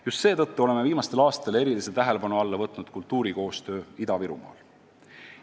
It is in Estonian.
Just seetõttu oleme viimastel aastatel erilise tähelepanu alla võtnud kultuurikoostöö Ida-Virumaal.